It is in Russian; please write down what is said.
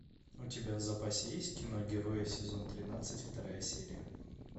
у тебя в запасе есть кино герои сезон тринадцать вторая серия